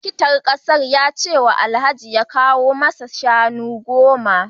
Likitan kasar ya ce Alhaji ya kawo masa shanu goma